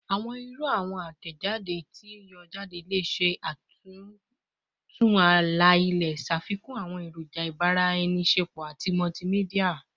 Awọn iru awọn atẹjade ti n yọ jade le ṣe atuntu ala-ilẹ, ṣafikun awọn eroja ibaraenisepo ati multimedia